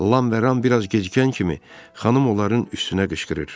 Lam və Ram biraz gecikən kimi xanım onların üstünə qışqırır.